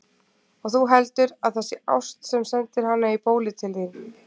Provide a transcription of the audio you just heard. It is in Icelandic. Og þú heldur, að það sé ást, sem sendir hana í bólið til þín!